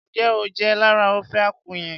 Njẹ o jẹ lára ofe akwu yẹn?